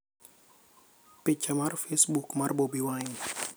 Picha mar Facebook mar Bobi Wine.